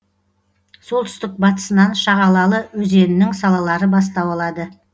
солтүстік батысынан шағалалы өзенінің салалары бастау алады